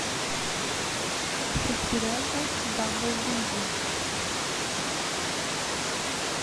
шестеренка бамбл бизи